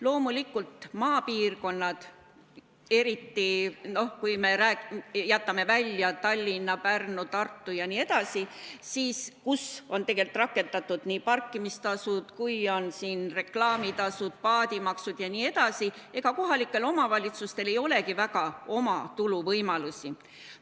Loomulikult maapiirkondades – eriti kui me jätame välja Tallinna, Pärnu, Tartu, kus on rakendatud parkimistasud, reklaamitasud, paadimaksud jne – kohalikel omavalitsustel ei olegi väga oma tulu võimalusi.